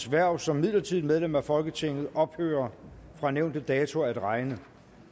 hverv som midlertidigt medlem af folketinget ophører fra nævnte dato at regne